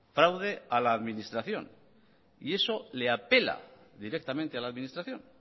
fraude a la administración y eso le apela directamente a la administración